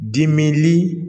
Dimili